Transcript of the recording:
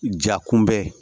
Ja kunbɛ